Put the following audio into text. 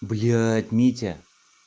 блять митя